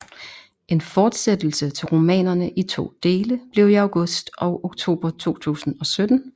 En fortsættelse til romanerne i to dele blev i august og oktober 2017